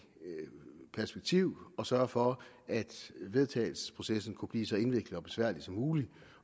perspektiv at sørge for at vedtagelsesprocessen kunne blive så indviklet og besværlig som muligt